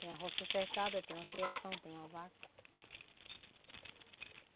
Tem a roça cercada, tem uma criação, tem uma vaca.